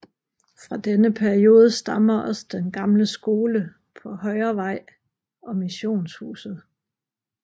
Fra denne periode stammer også den gamle skole på Højervej og missionshuset